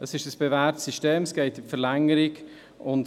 Es ist ein bewährtes System, welches in die Verlängerung geht.